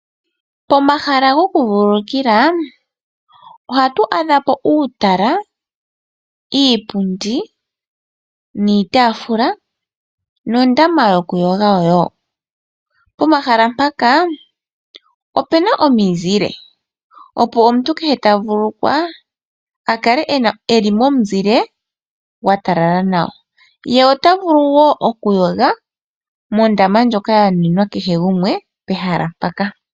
Pomahala gokuvululukilwa ohatu adha po uutala, iipundi, iitaafula nondama yokuyoga wo. Pomahala mpaka opu na omizile, opo omuntu kehe ta vululukwa a kale e li momuzile gwa talala nawa. Ye ota vulu wo okuyoga mondama ndjoka ya nuninwa kehe gumwe pehala mpaka.